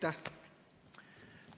Aitäh!